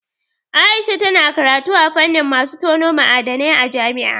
Aisha tana karatu a fannin masu tono ma'adanai a jami'a.